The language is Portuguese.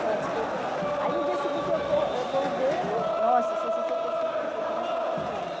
Que ela disse que eu... Aí no dia seguinte eu acor acordei, nossa, você se sente assim como se você estivesse no paraíso.